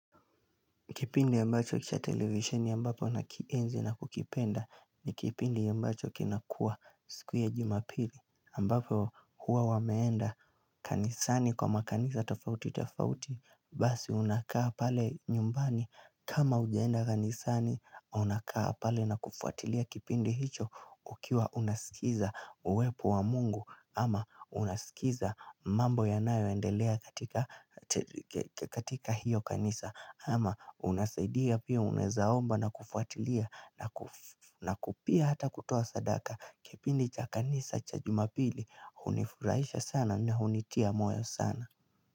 Kipindi ambacho cha televisheni ambapo nakienzi na kukipenda ni kipindi ambacho kinakuwa siku ya juma pili ambapo huwa wameenda kanisani kwa makanisa tofauti tofauti basi unakaa pale nyumbani kama hujaenda kanisani unakaa pale na kufuatilia kipindi hicho ukiwa unaskiza uwepo wa mungu. Ama unasikiza mambo yanayoendelea katika hiyo kanisa ama unasaidia pia unaeza omba na kufuatilia na pia hata kutoa sadaka. Kipindi cha kanisa cha jumapili hunifurahisha sana na hunitia moyo sana.